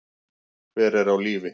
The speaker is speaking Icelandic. Hver er á lífi?